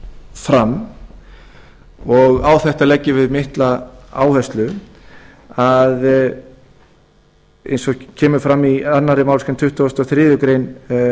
fram og á þetta leggjum við mikla áherslu að eins og kemur fram í annarri málsgrein tuttugustu og þriðju grein